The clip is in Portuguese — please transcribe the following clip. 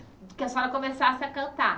Que a senhora começasse a cantar.